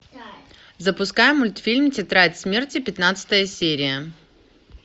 запускай мультфильм тетрадь смерти пятнадцатая серия